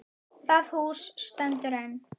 Það hús stendur enn.